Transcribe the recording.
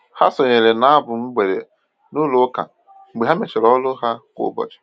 Ha sonyeere na abụ mgbede n'ụlọ ụka mgbe ha mechara ọrụ ha kwa ụbọchị.